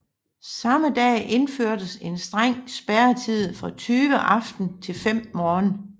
Samme dag indførtes en streng spærretid fra 20 aften til 5 morgen